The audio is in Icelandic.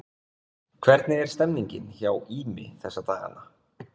Hvernig er stemmningin hjá Ými þessa dagana?